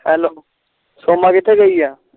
hello Soma ਕਿਥੇ ਗਯੀ ਆ